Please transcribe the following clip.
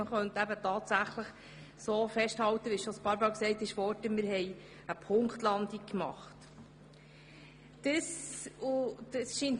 Man kann festhalten, dass wir eine Punktlandung geschafft haben.